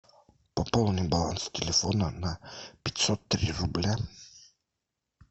пополни баланс телефона на пятьсот три рубля